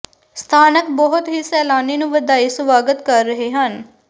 ਸਥਾਨਕ ਬਹੁਤ ਹੀ ਸੈਲਾਨੀ ਨੂੰ ਵਧਾਈ ਸਵਾਗਤ ਕਰ ਰਹੇ ਹਨ